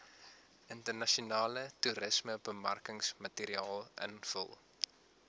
internasionale toerismebemarkingsmateriaal invul